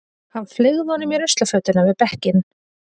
Hann fleygði honum í ruslafötuna við bekkinn.